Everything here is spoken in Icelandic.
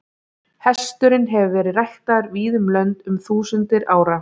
Hesturinn hefur verið ræktaður víða um lönd um þúsundir ára.